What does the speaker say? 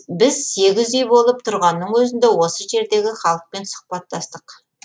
біз сегіз үй болып тұрғанның өзінде осы жердегі халықпен сұхбаттастық